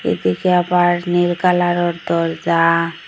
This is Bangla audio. এদিকে আবার নীল কালারের দরজা।